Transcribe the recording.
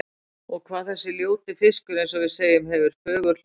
Og hvað þessi ljóti fiskur, eins og við segjum, hefur fögur hljóð.